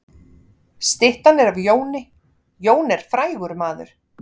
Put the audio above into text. Styttan er af Jóni. Jón er frægur maður.